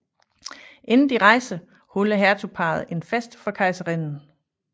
Inden de rejser holder hertugparret en fest for kejserinden